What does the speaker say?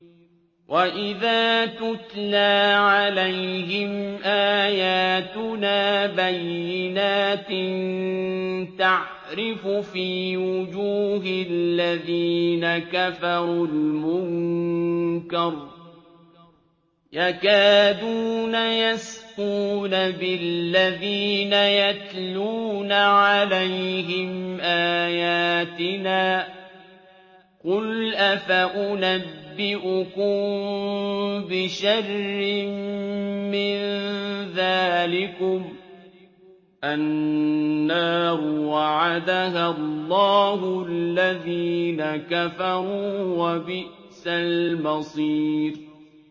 وَإِذَا تُتْلَىٰ عَلَيْهِمْ آيَاتُنَا بَيِّنَاتٍ تَعْرِفُ فِي وُجُوهِ الَّذِينَ كَفَرُوا الْمُنكَرَ ۖ يَكَادُونَ يَسْطُونَ بِالَّذِينَ يَتْلُونَ عَلَيْهِمْ آيَاتِنَا ۗ قُلْ أَفَأُنَبِّئُكُم بِشَرٍّ مِّن ذَٰلِكُمُ ۗ النَّارُ وَعَدَهَا اللَّهُ الَّذِينَ كَفَرُوا ۖ وَبِئْسَ الْمَصِيرُ